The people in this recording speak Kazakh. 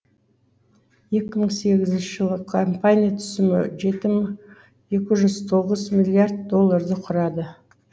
екі мың сегізінші жылы компания түсімі жеті мың екі жүз тоғыз миллиард долларды құрады